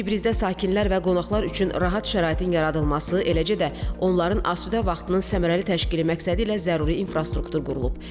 Cəbrizdə sakinlər və qonaqlar üçün rahat şəraitin yaradılması, eləcə də onların asudə vaxtının səmərəli təşkili məqsədilə zəruri infrastruktur qurulub.